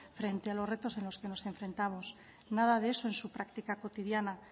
frente a los retos a los que nos enfrentamos nada de eso en su práctica cotidiana